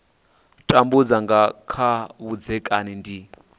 tambudza nga kha vhudzekani ndi